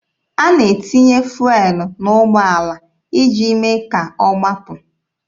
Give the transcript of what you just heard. A na-etinye fụelụ n'ụgbọala iji mee ka ọ gbapụ.